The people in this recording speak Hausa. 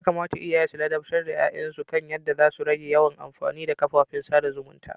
Yakamata iyaye su ladabtar da ya'yan su kan yadda za su rage yawan amfani da kafafen sada zumunta.